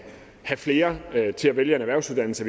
have flere til at vælge en erhvervsuddannelse